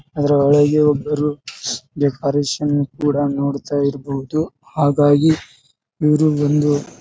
ಅದ್ರ ಒಳಗೆ ಒಬ್ಬರು ಡೆಕೋರೇಷನ್ ಕೂಡ ನೋಡ್ತಾ ಇರಬಹುದು ಹಾಗಾಗಿ ಇವರು ಬಂದು--